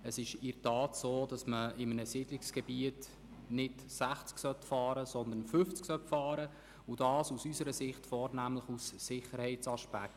Es ist in der Tat so, dass man in einem Siedlungsgebiet nicht mit einer Geschwindigkeit von 60 km/h, sondern 50 km/h fahren sollte – aus unserer Sicht dies vornehmlich aus Sicherheitsgründen.